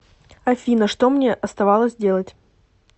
афина что мне оставалось делать